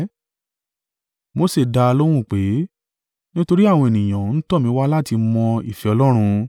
Mose dá a lóhùn pé, “Nítorí àwọn ènìyàn ń tọ̀ mí wá láti mọ́ ìfẹ́ Ọlọ́run.